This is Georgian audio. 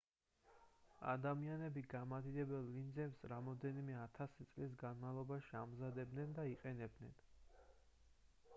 ადამიანები გამადიდებელ ლინზებს რამდენიმე ათასი წლის განმავლობაში ამზადებდნენ და იყენებდნენ